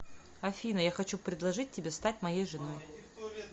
афина я хочу предложить тебе стать моей женой